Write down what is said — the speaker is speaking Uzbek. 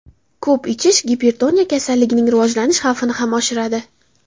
Ko‘p ichish gipertoniya kasalligining rivojlanish xavfini ham oshiradi.